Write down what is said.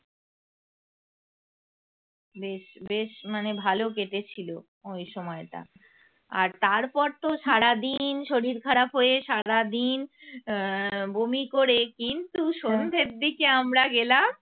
বেশ বেশ মানে ভালো কেটেছিল ওই সময়টা আর তারপর তো সারাদিন শরীর খারাপ হয়ে সারাদিন আহ বমি করে কিন্তু সন্ধ্যের দিকে আমরা গেলাম